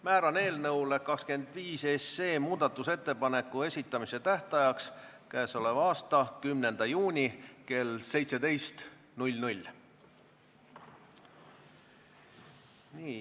Määran eelnõu muudatusettepanekute esitamise tähtajaks k.a 10. juuni kell 17.